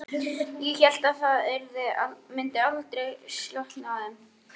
Ég hélt að það myndi aldrei slokkna í þeim.